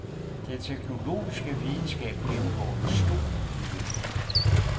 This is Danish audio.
Den teknologiske videnskab gennemgår en stor udvikling.